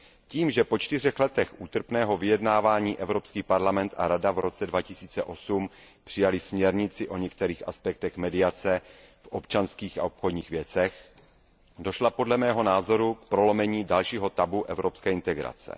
Tím, že po čtyřech letech útrpného vyjednávání Evropský parlament a Rada v roce 2008 přijaly směrnici o některých aspektech mediace v občanských a obchodních věcech, došlo podle mého názoru k prolomení dalšího tabu evropské integrace.